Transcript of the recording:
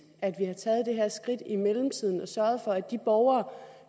at skridt i mellemtiden og sørget for at de borgere